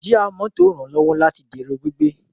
Jíà mọ́tò ranlọwọ láti dẹrọ gbígbé